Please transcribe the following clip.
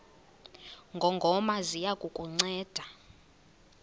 ngongoma ziya kukunceda